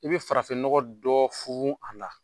I bɛ farafinnɔgɔ dɔ funfun a la.